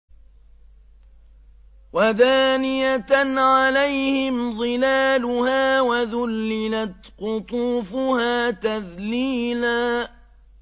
وَدَانِيَةً عَلَيْهِمْ ظِلَالُهَا وَذُلِّلَتْ قُطُوفُهَا تَذْلِيلًا